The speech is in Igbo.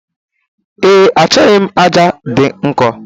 Ee, achọghị m aja dị nkọ.